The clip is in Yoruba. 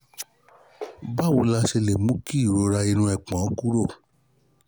báwo la ṣe lè mú kí ìrora inu epon kúrò?